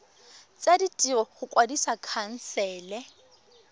tsa ditiro go kwadisa khansele